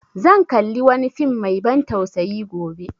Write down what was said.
Zan kalli wani fim mai ban tsausayi gobe